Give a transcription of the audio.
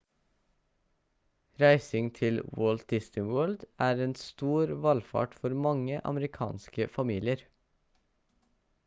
reising til walt disney world er en stor valfart for mange amerikanske familier